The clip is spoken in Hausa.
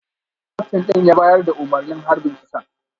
Kaftin din ya bayar da umarnin harbin kisan